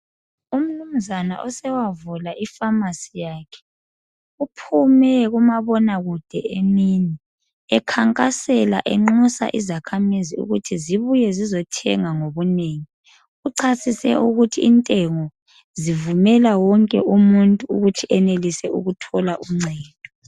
Umnumzana osewavula ifamasi yakhe. Uphume kumabonakude emini, ekhankasela enxusa izakhamizi ukuthi zibuye zizothenga ngobunengi. Uchasise ukuthi intengo zivumela wonke umuntu ukuthi enelise ukuthola uncedo.